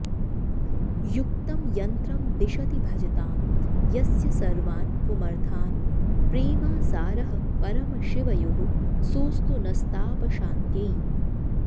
युक्तं यन्त्रं दिशति भजतां यस्य सर्वान्पुमर्थान् प्रेमासारः परमशिवयोः सोऽस्तु नस्तापशान्त्यै